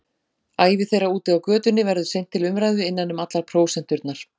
Ævi þeirra úti á götunni verður seint til umræðu innan um allar prósenturnar.